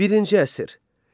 Birinci əsr.